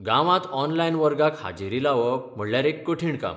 गांवांत ऑनलायन वर्गाक हाजेरी लावप म्हणल्यार एक कठीण काम.